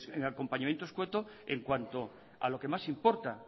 pero el acompañamiento escueto en cuanto a lo que más importa